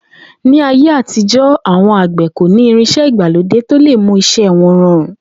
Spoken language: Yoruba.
Ní ayé àtijó̩, àwo̩n àgbè̩ kò ní irins̩é̩ ìgbàlódé tó lè mú is̩é̩ wo̩n ro̩rùn